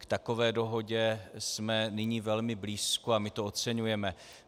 K takové dohodě jsme nyní velmi blízko a my to oceňujeme.